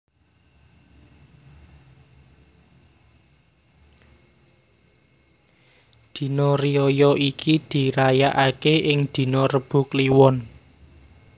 Dina riyaya iki diraya ake ing dina Rebo Kliwon